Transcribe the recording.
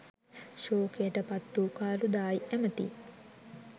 ශෝකයටපත් වූ කාළුදායි ඇමැති